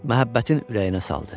Məhəbbətin ürəyinə saldı.